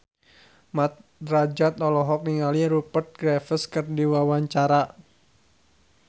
Mat Drajat olohok ningali Rupert Graves keur diwawancara